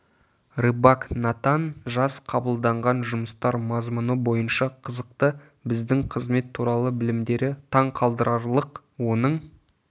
рыбак натан жас қабылданған жұмыстар мазмұны бойынша қызықты біздің қызмет туралы білімдері таң қалдырарлық оның